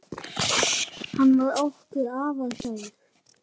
Hann var okkur afar kær.